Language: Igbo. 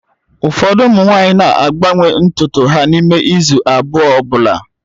Ụfọdụ ụmụ nwanyị na-agbanwe ntutu ha n'ime izu abụọ ọ bụla